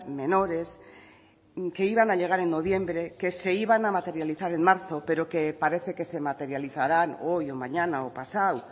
menores que iban a llegar en noviembre que se iban a materializar en marzo pero que parece que se materializarán hoy o mañana o pasado